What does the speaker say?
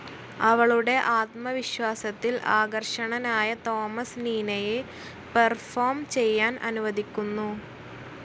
അവളുടെ ആത്മവിശ്വാസത്തിൽ ആകർഷണനായ തോമസ് നീനയെ പെർഫോം ചെയ്യാൻ അനുവദിക്കുന്നു.